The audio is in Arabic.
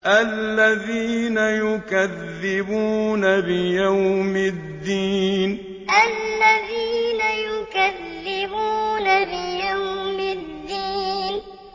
الَّذِينَ يُكَذِّبُونَ بِيَوْمِ الدِّينِ الَّذِينَ يُكَذِّبُونَ بِيَوْمِ الدِّينِ